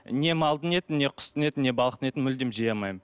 не малдың етін не құстың етін не балықтың етін мүлдем жей алмаймын